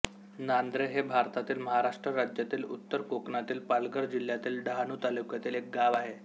नांदरे हे भारतातील महाराष्ट्र राज्यातील उत्तर कोकणातील पालघर जिल्ह्यातील डहाणू तालुक्यातील एक गाव आहे